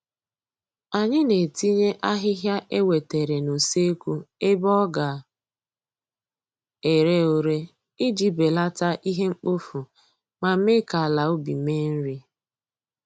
Anyị na-etinye ahịhịa e wetere n'useekwu ebe ọ ga ere ure iji belata ihe mkpofu ma mee ka ala ubi mee nri